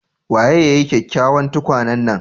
Waye ya yi kyakkyawan tukwane nan?